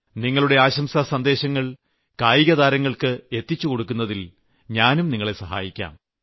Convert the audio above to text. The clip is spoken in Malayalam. നിങ്ങളുടെ ആശംസാ സന്ദേശങ്ങൾ കായികതാരങ്ങൾക്ക് എത്തിച്ചുകൊടുക്കുന്നതിൽ ഞാനും നിങ്ങളെ സഹായിക്കാം